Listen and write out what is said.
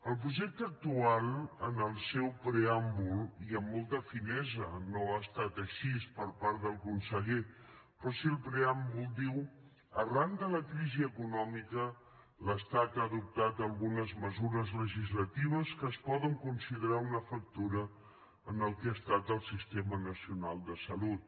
el projecte actual en el seu preàmbul i amb molta finesa no ha estat així per part del conseller però sí al preàmbul diu arran de la crisi econòmica l’estat ha adoptat algunes mesures legislatives que es poden considerar una fractura en el que ha estat el sistema nacional de salut